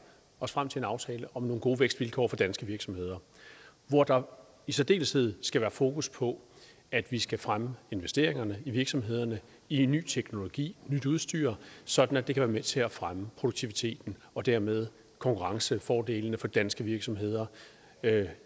os frem til en aftale om nogle gode vækstvilkår for danske virksomheder hvor der i særdeleshed skal være fokus på at vi skal fremme investeringerne i virksomhederne i ny teknologi i nyt udstyr sådan at det kan være med til at fremme produktiviteten og dermed konkurrencefordelene for de danske virksomheder